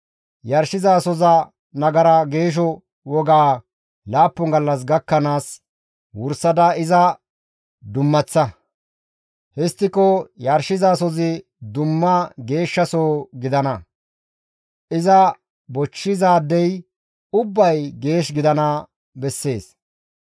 Yarshizasoza nagara geesho wogaa laappun gallas gakkanaas wursada iza dummaththa. Histtiko yarshizasozi dumma geeshshasoho gidana. Iza bochchizaadey ubbay geesh gidana bessees.